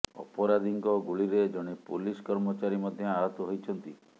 ଅପରାଧୀଙ୍କ ଗୁଳିରେ ଜଣେ ପୋଲିସ କର୍ମଚାରୀ ମଧ୍ୟ ଆହତ ହୋଇଛନ୍ତି